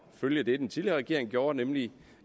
følge det den tidligere regering gjorde nemlig